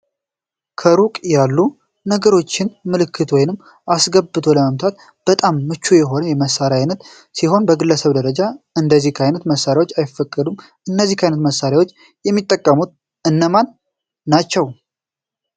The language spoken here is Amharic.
ከሩቅ ያሉ ነገሮችን ምልክት ውስጥ አስገብተን ለመምታት በጣም ምቹ የሆነ የመሳሪያ ዓይነት ሲሆን በግለሰብ ደረጃ እንደዚህ አይነት መሳሪያዎች አይፈቀዱም። እነዚህን አይነት መሳሪያዎች የሚጠቀሙ እነማን ናቸው?